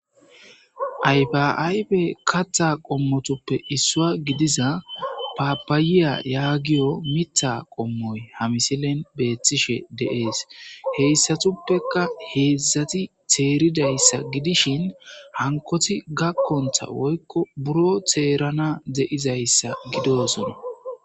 ayfiaybe kattha qommotuppe issua gidiza paapaayiya yaagiyo mitha qommoy hamisilen beeththishe deees heyssatuppeka heedzdzati teeridayssa gidishin hankoti gakkontha woykko buro teerana de7izayssa gidosona